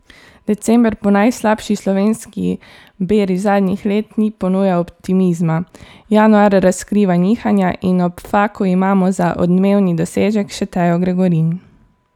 December po najslabši slovenski beri zadnjih let ni ponujal optimizma, januar razkriva nihanja in ob Faku imamo za odmevni dosežek še Tejo Gregorin.